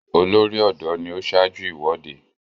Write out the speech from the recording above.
Olórí-ọ̀dọ́ ni ó ṣaájú ìwọ́de.